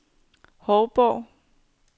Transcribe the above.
Hovborg